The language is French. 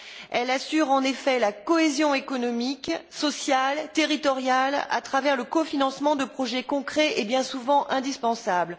Elle assure, en effet, la cohésion économique, sociale, territoriale, à travers le cofinancement de projets concrets et bien souvent indispensables.